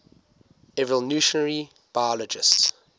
evolutionary biologists